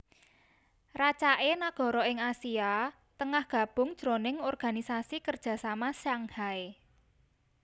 Racaké nagara ing Asia Tengah gabung jroning Organisasi Kerjasama Shanghai